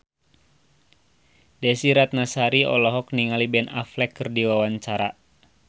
Desy Ratnasari olohok ningali Ben Affleck keur diwawancara